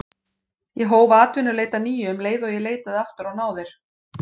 Ég hóf atvinnuleit að nýju um leið og ég leitaði aftur á náðir